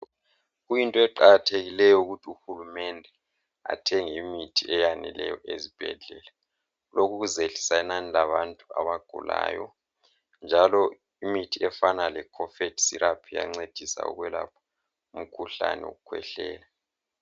Kuyinto eqakathekileyo ukuthi uhulumende athenge imithi Eyaneleyo ezibhedlela okuzehlisa inani labantu abagulayo njalo imithi efana le cough syrup iyancedisa ukwelapha imikhuhlane yokukhwehlela